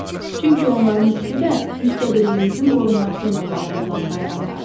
Çünki onların ikisi də müstəqilliyimizin qorunması ilə bağlı olan bayramlardır.